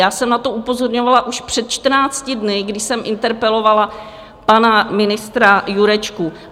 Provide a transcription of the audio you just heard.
Já jsem na to upozorňovala už před 14 dny, kdy jsem interpelovala pana ministra Jurečku.